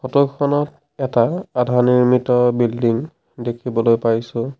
Photo খনত এটা আধা নিৰ্মিত বিল্ডিং দেখিবলৈ পাইছোঁ।